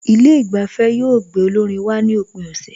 Ilé ìgbafẹ́ yóò gbé olórin wá ní òpin ọ̀sẹ̀